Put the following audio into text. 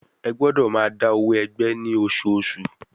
Ẹ gbọ́dọ̀ máa dá owó ẹgbẹ́ ní oṣooṣù.